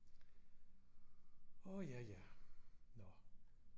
Åh ja ja nå